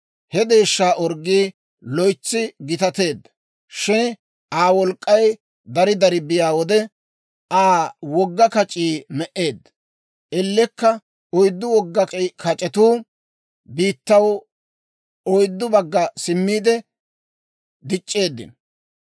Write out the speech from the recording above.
He deeshshaa orggii loytsi gitateedda; shin Aa wolk'k'ay dari dari biyaa wode, Aa wogga kac'ii me"eedda; ellekka, oyddu wogga kac'etuu biittaw oyddu bagga simmiide dic'c'eeddino.